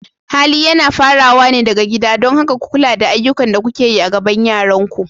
Hali yana fara wa ne daga gida, don haka ku kula da ayyukan da kuke yi a gaban yaranku.